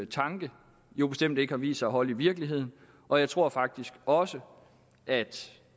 tanke jo bestemt ikke har vist sig at holde i virkeligheden og jeg tror faktisk også at